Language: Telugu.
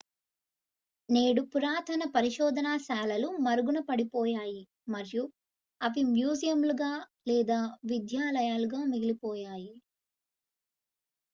నేడు పురాతన పరిశోధనశాలలు మరుగున పడిపోయాయి మరియు అవి మ్యూజియంలుగా లేదా విద్యాలయాలుగా మిగిలిపోయాయి